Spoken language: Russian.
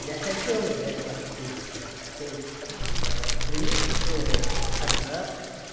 я хотел играть на скрипке то есть э в принципе тогда